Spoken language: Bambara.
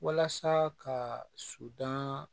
Walasa ka sudan